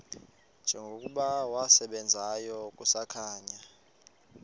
njengokuba wasebenzayo kusakhanya